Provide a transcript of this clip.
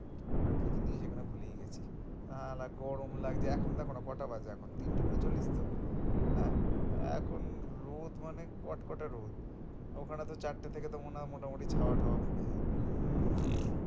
ঠান্ডা কি জিনিস এখানে ভুলেই গেছি। সালা গরম লাগছে এখন দেখোনা কটা বাজে এখন তিনটে ঊনচল্লিশ তো হ্যাঁ এখন রোদ মানে কটকটা রোদ ওখানে তো চারটা থেকে তো মনে হয় মোটামুটি ছাওয়া টাওয়া পড়ে যায়।